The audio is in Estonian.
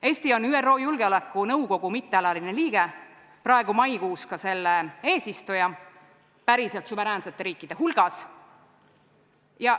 Eesti on ÜRO Julgeolekunõukogu mittealaline liige, praegu maikuus ka selle eesistuja, päriselt suveräänsete riikide hulgas.